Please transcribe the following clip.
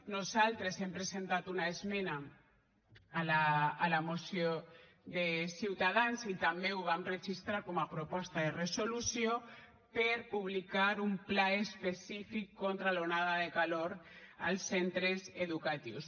nosaltres hem presentat una esmena a la moció de ciutadans i també ho vam registrar com a proposta de resolució per publicar un pla específic contra l’onada de calor als centres educatius